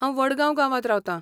हांव वडगांव गांवांत रावतां .